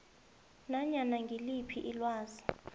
nanyana ngiliphi ilwazi